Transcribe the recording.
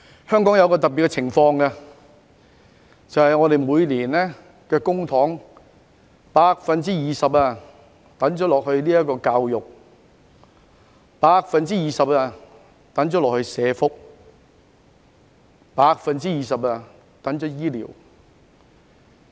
香港有一種特別情況，就是政府每年將公帑的 20% 撥給教育、20% 撥給社會福利及 20% 撥給醫療。